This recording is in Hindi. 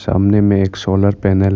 सामने में एक सोलर पैनल है।